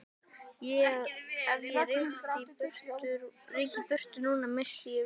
Ef ég ryki í burtu núna missti ég vinnuna.